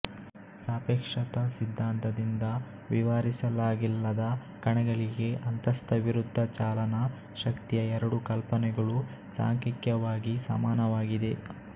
ಸಾಪೇಕ್ಷತಾ ಸಿದ್ಧಾಂತದಿಂದ ವಿವರಿಸಲಾಗಿಲ್ಲದ ಕಣಗಳಿಗೆ ಅಂತಸ್ಥವಿರುದ್ಧಚಾಲನಾ ಶಕ್ತಿಯ ಎರಡೂ ಕಲ್ಪನೆಗಳು ಸಾಂಖ್ಯಿಕವಾಗಿ ಸಮನಾಗಿದೆ